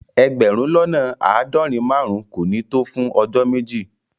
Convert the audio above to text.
Egberun lona aadorin-marun ko ni to fun ojo meji